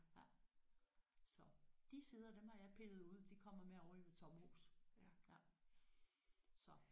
Ja så de sider dem har jeg pillet ud de kommer med over i mit sommerhus ja så